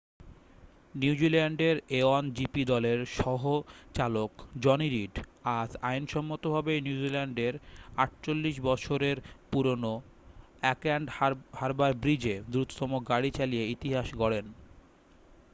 নিউজিল্যান্ডের a1gp দলের সহ-চালক জনি রিড আজ আইনসম্মতভাবে নিউজিল্যান্ডের 48 বছরের পুরনো অকল্যান্ড হারবার ব্রিজে দ্রুততম গাড়ি চালিয়ে ইতিহাস গড়েন